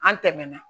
An tɛmɛna